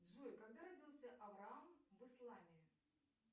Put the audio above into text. джой когда родился авраам в исламе